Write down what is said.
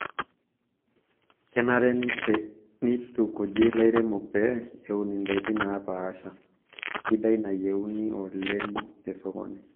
Kenare neitukuji lairemok pee eun ndaiki naapaasha sidai naayieuni oleng' te sokoni